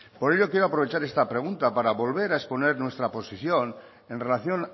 por ello quiero aprovechar esta pregunta para volver a exponer nuestra posición en relación